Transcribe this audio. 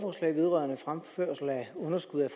understøtter